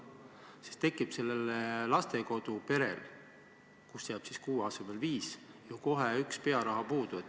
Siis jääb sellel lastekoduperel, kuhu jääb kuue asemel viis last, kohe üks pearaha puudu.